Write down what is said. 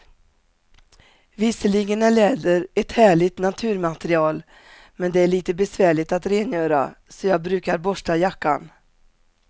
Visserligen är läder ett härligt naturmaterial, men det är lite besvärligt att rengöra, så jag brukar borsta jackan.